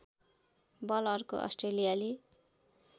बल अर्को अस्ट्रेलियाली